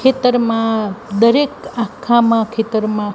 ખેતરમા દરેક આખામાં ખેતરમા--